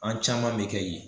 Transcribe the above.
An caman bi kɛ yen